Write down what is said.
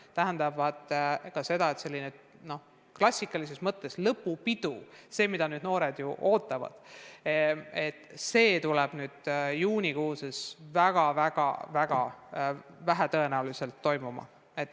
See tähendab ka seda, et selline klassikalises mõttes lõpupidu, mida noored ju ootavad, on juunis väga-väga vähetõenäoline.